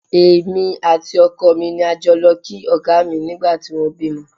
Èmi àti ọkọ mi ni a jọ lọ kí Ọ̀gá mi nígbà tí wọ́n bímọ